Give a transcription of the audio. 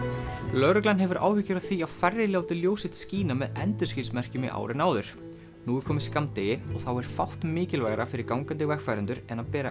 lögreglan hefur áhyggjur af því að færri láti ljós sitt skína með endurskinsmerkjum í ár en áður nú er komið skammdegi og þá er fátt mikilvægara fyrir gangandi vegfarendur en að bera